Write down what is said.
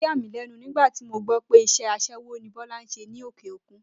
Ó yàmílé̩nu nígbà tí mo gbó̩ pé is̩é̩ as̩é̩wó ni Bó̩lá ń s̩e ní òkè òkun